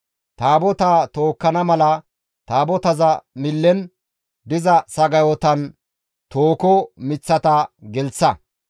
Taabotaa tookkana mala Taabotaza millen diza sagayotan tooho miththata gelththa.